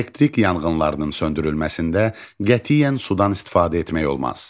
Elektrik yanğınlarının söndürülməsində qətiyyən sudan istifadə etmək olmaz.